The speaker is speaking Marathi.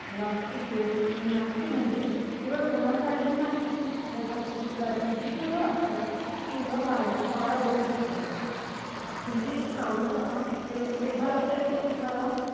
मुलांची के मुलांची केवळ म्हणजे मुलांसाठीच नाही तर हास्य चित्रातील जी मुलं असतात ती मुलं काढणं फार अवघड असतं. तुम्ही काढून पहा तेव्हा लक्षात येईल तुम्हाला